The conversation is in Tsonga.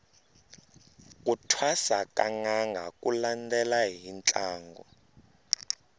ku thwasa ka nanga ku landela hi ntlangu